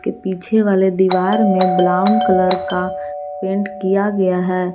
पीछे वाले दीवार में ब्राउन कलर का पेंट किया गया है।